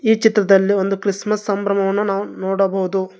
ಈ ಚಿತ್ರದಲ್ಲಿ ಒಂದು ಕ್ರಿಸ್ಮಸ್ ಸಂಭ್ರಮವನ್ನು ನಾವು ನೋಡಬಹುದು.